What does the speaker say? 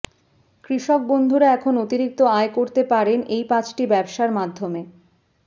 কৃষকবন্ধুরা এখন অতিরিক্ত আয় করতে পারেন এই পাঁচটি ব্যবসার মাধ্যমে